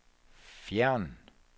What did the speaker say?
fjern